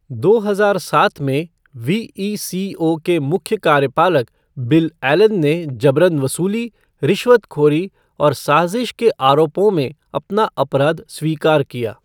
दो हजार सात में, वीईसीओ के मुख्य कार्यपालक बिल एलन ने जबरन वसूली, रिश्वतखोरी और साजिश के आरोपों में अपना अपराध स्वीकार किया।